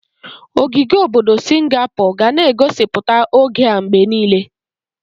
Ogige obodo Singapor ga na egosipụta oge a mgbe niile.